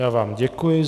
Já vám děkuji.